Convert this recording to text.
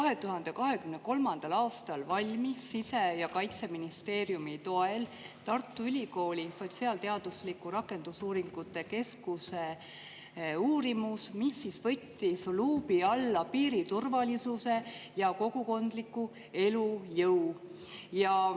2023. aastal valmis sise‑ ja kaitseministeeriumi toel Tartu Ülikooli sotsiaalteaduslike rakendusuuringute keskuse uurimus, mis võttis luubi alla piiri turvalisuse ja kogukondliku elujõu.